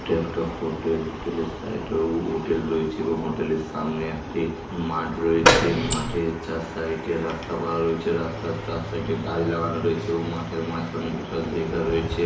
এটা একটা hotel hotel -এর সাইড -এ উ হোটেল রয়েছে এবং হোটেল -এর সামনে একটি মাঠ রয়েছে। মাঠের চার সাইড -এ রাস্তা করা রয়েছে। রাস্তায় চার সাইড -এ গাছ লাগানো রয়েছে এবং মাঠের মাঝখানে বসার জায়গা রয়েছে।